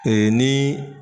nin.